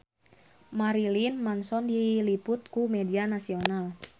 Marilyn Manson diliput ku media nasional